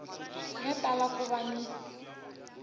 ya tala ku va ni